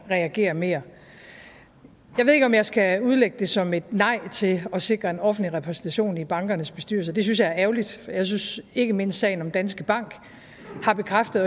reagere mere jeg ved ikke om jeg skal udlægge det som et nej til at sikre en offentlig repræsentation i bankernes bestyrelse det synes jeg er ærgerligt jeg synes ikke mindst at sagen om danske bank har bekræftet